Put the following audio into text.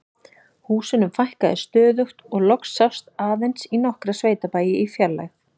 Húsunum fækkaði stöðugt og loks sást aðeins í nokkra sveitabæi í fjarlægð.